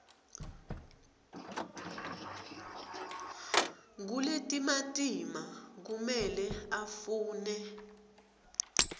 kuletimatima kumele afune